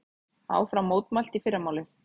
Áfram mótmælt í fyrramálið